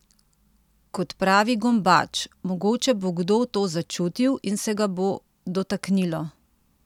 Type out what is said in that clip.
Kot pravi Gombač: "Mogoče bo kdo to začutil in se ga bo dotaknilo.